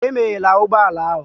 Emeghela ụgbọ ala ahụ!